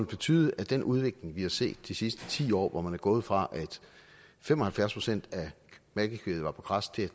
betyde at den udvikling vi har set de sidste ti år hvor man er gået fra at fem og halvfjerds procent af malkekvæget var på græs til